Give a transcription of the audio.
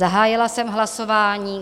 Zahájila jsem hlasování.